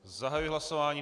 Zahajuji hlasování.